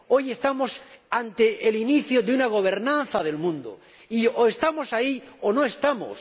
Hoy estamos ante el inicio de una gobernanza del mundo y, o estamos ahí, o no estamos.